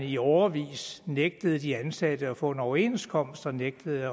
i årevis nægtede de ansatte at få en overenskomst og nægtede